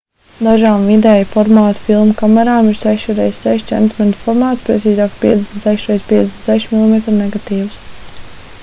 dažām vidēja formāta filmu kamerām ir 6 x6 cm formāts precīzāk 56 x 56 mm negatīvs